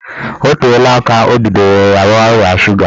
Ọ teela aka o bidoro rịawa ọrịa suga